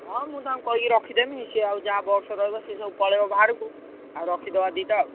ହଁ ମୁଁ ତାଙ୍କୁ କହିକି ରଖିଦେବି ସିଏ ଆଉ ଯାହା box ରହିବ ସିଏ ସବୁ ପଳେଇବ ବାହାରକୁ। ଆଉ ରଖିଦବା ଦିଟା ଆଉ।